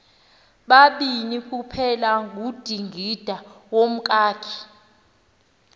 babini kuphelangudingindawo nomkakhe